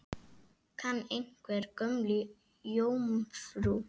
Kann einhver Gömlu jómfrú?